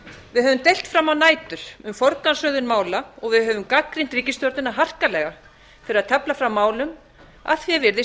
við höfum deilt fram á nætur um forgangsröðun mála og við höfum gagnrýnt ríkisstjórnina harkalega fyrir að tefla fram málum að því er virðist